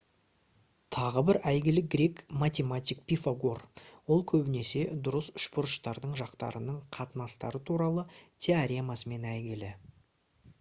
тағы бір әйгілі грек математик пифагор ол көбінесе дұрыс үшбұрыштардың жақтарының қатынастары туралы теоремасымен әйгілі